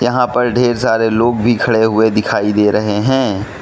यहां पर ढेर सारे लोग भी खड़े हुए दिखाई दे रहे हैं।